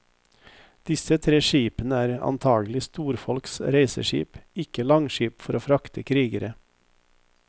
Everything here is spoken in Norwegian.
Disse tre skipene er antakelig storfolks reiseskip, ikke langskip for å frakte krigere.